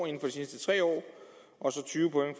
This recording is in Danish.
de sidste tre år og så tyve point